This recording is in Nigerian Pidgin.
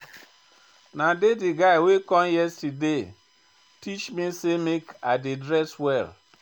Na dey guy wey come yesterday teach me sey make I dey dress well.